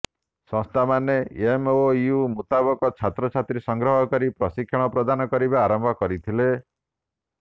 ସଂସ୍ଥାମାନେ ଏମ୍ଓୟୁ ମୁତାବକ ଛାତ୍ରଛାତ୍ରୀ ସଂଗ୍ରହ କରି ପ୍ରଶିକ୍ଷଣ ପ୍ରଦାନ କରିବା ଆରମ୍ଭ କରିଥିଲେ